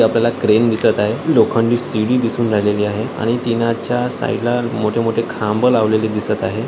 आपल्याला क्रेन दिसत आहे लोखंडी सीडी दिसून राहिलेली आहे आणि त्यांच्या साइडला मोठे-मोठे खांब लावलेली दिसत आहे.